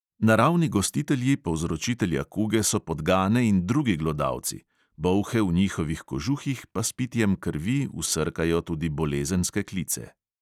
Naravni gostitelji povzročitelja kuge so podgane in drugi glodalci, bolhe v njihovih kožuhih pa s pitjem krvi vsrkajo tudi bolezenske klice.